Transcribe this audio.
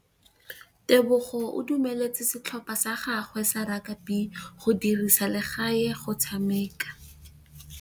Tebogô o dumeletse setlhopha sa gagwe sa rakabi go dirisa le galê go tshameka.